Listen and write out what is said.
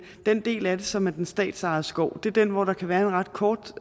den del af det som er den statsejede skov er den hvor der kan være en ret kort